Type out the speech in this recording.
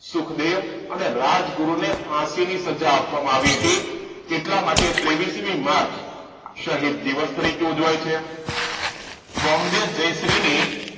સુખદેવ અને રાજગુરુ ને ફાંસી ની સજા આપવામાં આવી હતી એટલા માટે ત્રેવીસમી માર્ચ શહીદ દિવસ તરીકે ઉજવાય છે બોમ્બે જયશ્રી ની